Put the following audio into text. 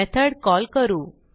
method call करू